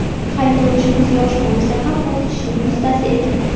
Haydovchimiz yosh bo‘lsa ham o‘z ishining ustasi ekan.